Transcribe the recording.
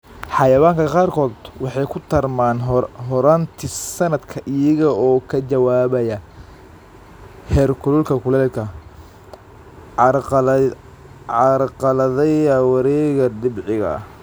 Xayawaanka qaarkood waxay ku tarmaan horraantii sanadka iyaga oo ka jawaabaya heerkulka kulaylka, carqaladeeya wareegga dabiiciga ah.